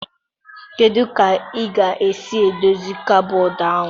Kedu ka ị ga-esi edozi kọbọd ahụ?